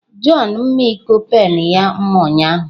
John mma iko pen ya mma ụnyahụ.